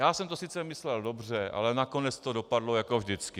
Já jsem to sice myslel dobře, ale nakonec to dopadlo jako vždycky.